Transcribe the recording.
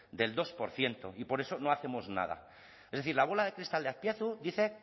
del dos por ciento y por eso no hacemos nada es decir la bola de cristal de azpiazu dice